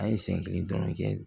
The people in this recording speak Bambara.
An ye sen kelen dɔrɔn kɛ